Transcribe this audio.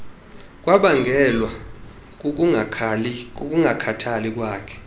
kwabangelwa kukungakhathali kwakhe